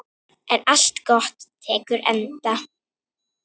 En allt gott tekur enda.